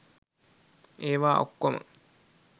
ඒවා ඔක්‌කෝම